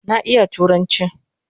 Na iya turanchi